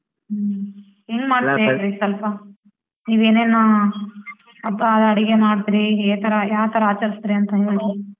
ಹ್ಮ್ ಹೆಂಗ್ ಮಾಡ್ತಿರ ಸ್ವಲ್ಪ ನೀವ್ ಏನೇನು ಹಬ್ಬ ಅಡಿಗೆ ಮಾಡ್ತಿರಿ ಏತರ ಯಾವ್ಥರ ಆಚರಸ್ತಿರಿ ಅಂತ ಹೇಳ್ರಿ.